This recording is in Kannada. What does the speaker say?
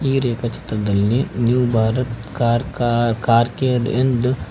ಈ ರೇಖಾ ಚಿತ್ರದಲ್ಲಿ ನ್ಯೂ ಭಾರತ್ ಕಾರ್ ಕಾ ಕಾರ್ ಕೇರ್ ಎಂದು--